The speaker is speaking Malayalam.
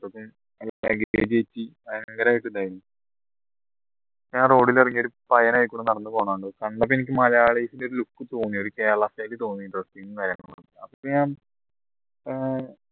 ഞാൻ road ൽ ഇറങ്ങി ഒരു പയ്യൻ അതിലെ കൂടെ നടന്നുപോന്ന കണ്ടപ്പോ എനിക്ക് ഒരു മലയാളിൻറെ ഒരു look തോന്നി ഒരു കേരള style തോന്നി ഏർ